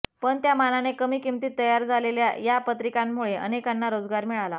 पण त्या मानाने कमी किंमतीत तयार झालेल्या या पत्रिकांमुळे अनेकांना रोजगार मिळाला